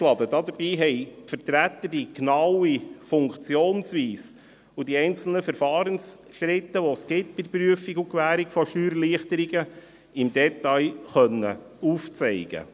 Dabei konnten die Vertreter die genaue Funktionsweise und die einzelnen Verfahrensschritte, die es bei der Prüfung und Gewährung von Steuererleichterungen gibt, im Detail aufzeigen.